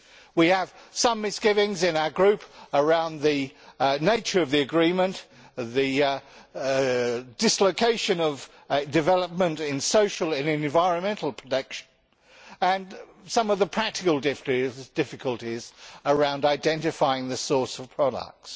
We have some misgivings in our Group about the nature of the agreement, the dislocation of development in social and environmental protection, and some of the practical difficulties around identifying the sources of products.